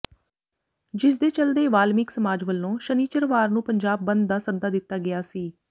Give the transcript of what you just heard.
ਜਿਸ ਦੇ ਚੱਲਦੇ ਵਾਲਮੀਕ ਸਮਾਜ ਵੱਲੋਂ ਸ਼ਨਿਚਰਵਾਰ ਨੂੰ ਪੰਜਾਬ ਬੰਦ ਦਾ ਸੱਦਾ ਦਿੱਤਾ ਗਿਆ ਸੀ